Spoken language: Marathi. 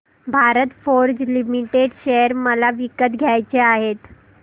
भारत फोर्ज लिमिटेड शेअर मला विकत घ्यायचे आहेत